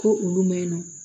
Ko olu maɲi nɔ